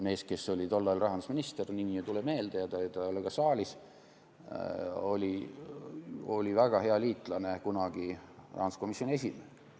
Mees, kes oli tollal rahandusminister – nimi ei tule meelde ja ta ei ole ka saalis –, oli kunagi väga hea liitlane rahanduskomisjoni esimehena.